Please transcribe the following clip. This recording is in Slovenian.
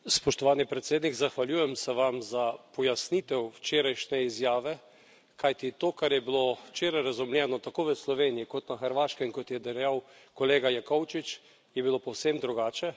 Spoštovani predsednik, zahvaljujem se vam za pojasnitev včerajšnje izjave, kajti to, kar je bilo včeraj razumljeno tako v Sloveniji kot na Hrvaškem, kot je dejal kolega Jakovčič, je bilo povsem drugače.